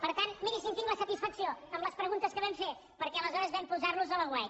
per tant miri si en tinc la satisfacció amb les preguntes que vam fer perquè aleshores vam posar los a l’aguait